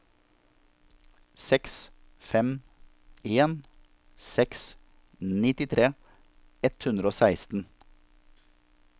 seks fem en seks nittitre ett hundre og seksten